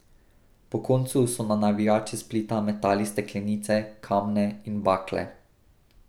Po koncu so na navijače Splita metali steklenice, kamne in bakle.